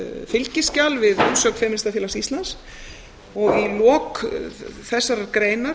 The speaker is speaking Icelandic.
fylgiskjal við umsögn femínistafélags íslands í lok þessar greinar